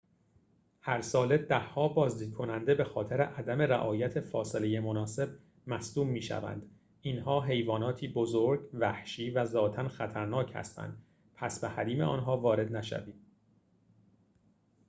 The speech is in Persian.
هرساله ده‌ها بازدیدکننده به‌خاطر عدم رعایت فاصله مناسب مصدوم می‌شوند اینها حیواناتی بزرگ وحشی و ذاتاً خطرناک هستند پس به حریم آنها وارد نشوید